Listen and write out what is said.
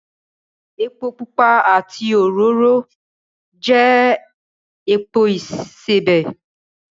Epo pupa àti òróró jẹ́ epo ìsebẹ̀